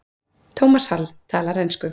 Thomas Hall: Talar ensku.